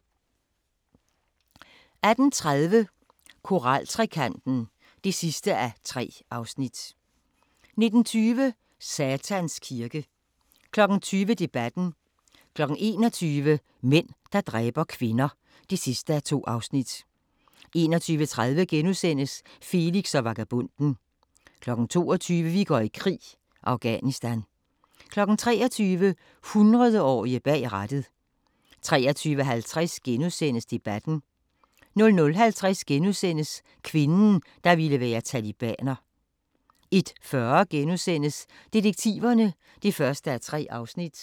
18:30: Koraltrekanten (3:3) 19:20: Satans Kirke 20:00: Debatten 21:00: Mænd, der dræber kvinder (2:2) 21:30: Felix og vagabonden (5:8)* 22:00: Vi går i krig: Afghanistan 23:00: 100-årige bag rattet 23:50: Debatten * 00:50: Kvinden, der ville være talibaner * 01:40: Detektiverne (1:3)*